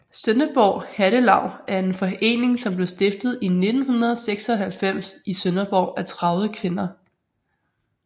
Sønderborg Hattelaug er en forening som blev stiftet i 1996 i Sønderborg af 30 kvinder